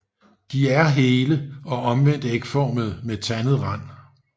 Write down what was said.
De er hele og omvendt ægformede med tandet rand